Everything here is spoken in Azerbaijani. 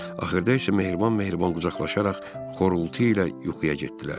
Axırda isə mehriban-mehriban qucaqlaşaraq xorultu ilə yuxuya getdilər.